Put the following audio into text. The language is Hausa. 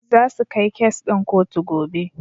Zasu kai kes ɗin kotu gobe.